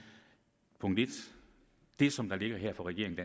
at det som der ligger her fra regeringen